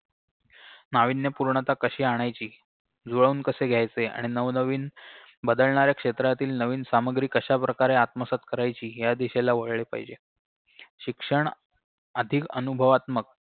नावीन्यपूर्णता कशी आणायची जुळवून कसे घ्यायचे आणि नवनवीन बदलणाऱ्या क्षेत्रातील नवीन सामग्री कशाप्रकारे आत्मसात करायची या दिशेला वळले पाहिजे शिक्षण अधिक अनुभवात्मक